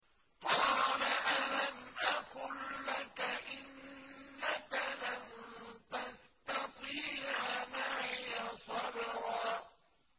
۞ قَالَ أَلَمْ أَقُل لَّكَ إِنَّكَ لَن تَسْتَطِيعَ مَعِيَ صَبْرًا